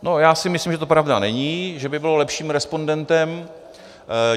No, já si myslím, že to pravda není, že by bylo lepším respondentem.